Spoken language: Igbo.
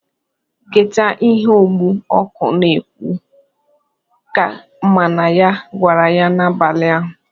"Geta ihe ogbu ọkụ na-ekwu!" ka mama ya gwara ya n'abali ahụ.